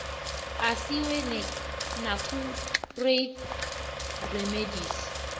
asiwe nakutrade remedies